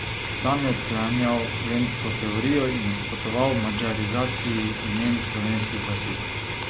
Sam je odklanjal vendsko teorijo in nasprotoval madžarizaciji imen slovenskih vasi.